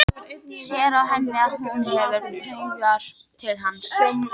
Sér á henni að hún hefur taugar til hans.